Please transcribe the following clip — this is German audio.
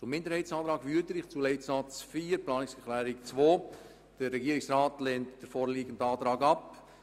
Zur Planungserklärung 2 SAK-Minderheit/Wüthrich zu Leitsatz 4: Der Regierungsrat lehnt die vorliegende Planungserklärung ab.